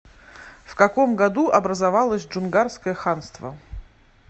в каком году образовалось джунгарское ханство